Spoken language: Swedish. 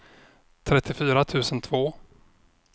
trettiofyra tusen två